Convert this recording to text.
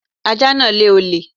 Ajá náà lé olè